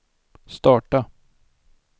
starta